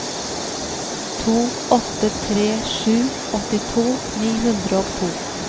to åtte tre sju åttito ni hundre og to